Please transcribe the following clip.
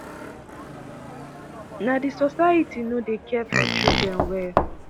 na di society no dey care for children well."